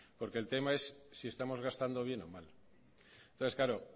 porque el tema es si estamos gastando bien o mal entonces claro